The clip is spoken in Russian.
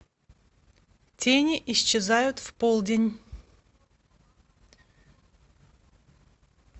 тени исчезают в полдень